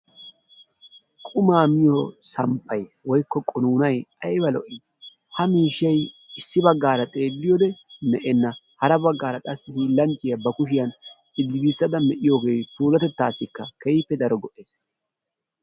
Qumaa miyo samppay/qunuunay ayba lo'ii? Ha miishshay issi baggaara xeelliyode lo'enna. Hara baggaara qassi hiillanchchiya ba kushiyan giigissada medhdhoogee puulatettaassikka keehippe daro lo'ees.